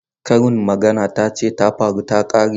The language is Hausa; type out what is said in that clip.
Karin magana ta ce ta faru ta kare.